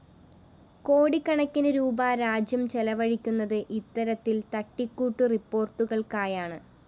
കോടിക്കണക്കിന് രൂപീ രാജ്യം ചെലവഴിക്കുന്നത് ഇത്തരത്തില്‍ തട്ടിക്കൂട്ടു റിപ്പോര്‍ട്ടുകള്‍ക്കായാണ്